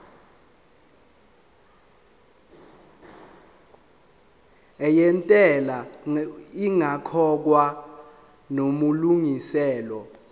yentela ingakakhokhwa namalungiselo